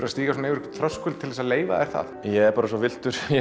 að stíga yfir einhvern þröskuld til að leyfa þér það ég er bara svo villtur